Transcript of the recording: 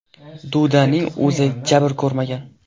Dudaning o‘zi jabr ko‘rmagan.